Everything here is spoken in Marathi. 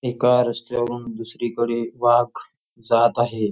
एका रस्त्यावरून दुसरीकडे वाघ जात आहे.